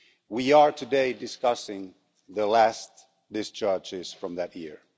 We are today discussing the last discharges from that year.